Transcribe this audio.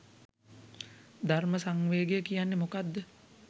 "ධර්ම සංවේගය" කියන්නේ මොකක්ද?